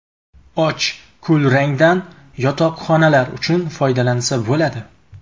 Och kulrangdan yotoqxonalar uchun foydalansa bo‘ladi.